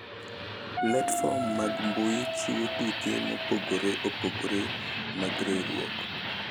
Platform mag mbui chiwo tuke mopogore opogore mag riwruok